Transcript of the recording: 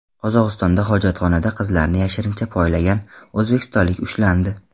Qozog‘istonda hojatxonada qizlarni yashirincha poylagan o‘zbekistonlik ushlandi.